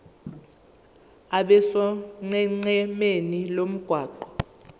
abe sonqenqemeni lomgwaqo